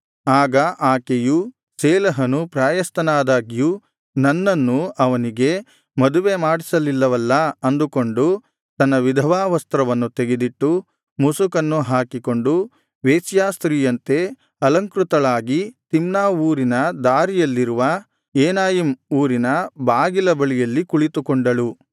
ಆಗ ಆಕೆಯು ಶೇಲಹನು ಪ್ರಾಯಸ್ಥನಾದಾಗ್ಯೂ ನನ್ನನ್ನು ಅವನಿಗೆ ಮದುವೆ ಮಾಡಿಸಲಿಲ್ಲವಲ್ಲಾ ಅಂದುಕೊಂಡು ತನ್ನ ವಿಧವಾ ವಸ್ತ್ರವನ್ನು ತೆಗೆದಿಟ್ಟು ಮುಸುಕನ್ನು ಹಾಕಿಕೊಂಡು ವೇಶ್ಯಾಸ್ತ್ರೀಯಂತೆ ಅಲಂಕೃತಳಾಗಿ ತಿಮ್ನಾ ಊರಿನ ದಾರಿಯಲ್ಲಿರುವ ಏನಯಿಮ್ ಊರಿನ ಬಾಗಿಲ ಬಳಿಯಲ್ಲಿ ಕುಳಿತುಕೊಂಡಳು